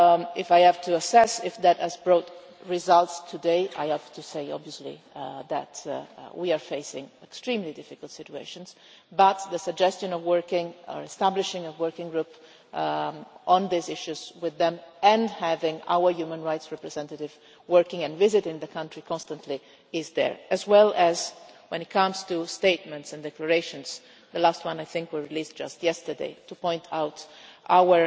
If I have to assess whether that has brought results today, I have to say, obviously, that we are facing extremely difficult situations, but the suggestion of establishing a working group on these issues with them and having our human rights representative working and visiting the country constantly is there, as well as when it comes to statements and declarations the last one I think we released just yesterday to highlight our